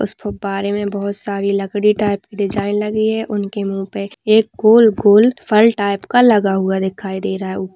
उस फुब्बारे मे बहुत सारी लकडी टाइप की डिज़ाइन लगी है उनके मू पे एक गोल गोल फल टाइप लगा हुआ दिखाई दे रहा है। उप--